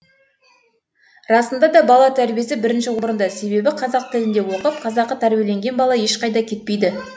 расында да бала тәрбиесі бірінші орында себебі қазақ тілінде оқып қазақы тәрбиеленген бала ешқайда кетпейді